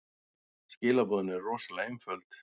Skilaboðin eru rosalega einföld.